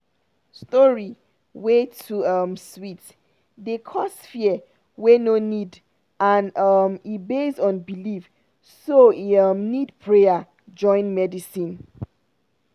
story wey too um sweet dey cause fear wey no need and um e base on belief so e um need prayer join medicine.